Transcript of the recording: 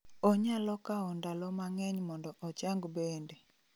Onyalo kawo ndalo ma ng'eny mondo ochang bende